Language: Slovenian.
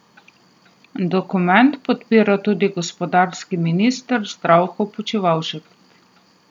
Dokument podpira tudi gospodarski minister Zdravko Počivalšek.